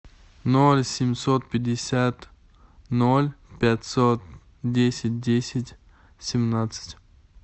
ноль семьсот пятьдесят ноль пятьсот десять десять семнадцать